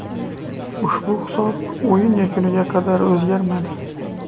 Ushbu hisob o‘yin yakuniga qadar o‘zgarmadi.